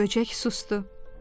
Böcək susdu.